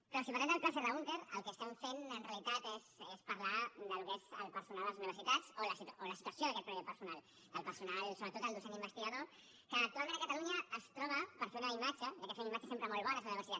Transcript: però si parlem del pla serra húnter el que estem fent en realitat és parlar del que és el personal a les universitats o de la situació d’aquest mateix personal del personal sobretot docent investigador que actualment a catalunya es troba per fer una imatge ja que fem imatges sempre molt bones a la universitat